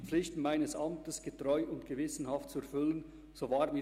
Herr Daniel Gerber leistet den Eid.